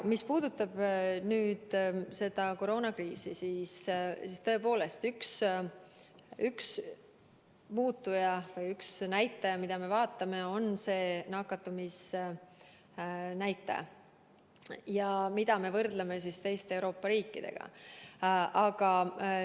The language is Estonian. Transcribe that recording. Mis puudutab koroonakriisi, siis üks muutuja või üks näitaja, mida me vaatame, on nakatumisnäitaja, mida me võrdleme teiste Euroopa riikide omaga.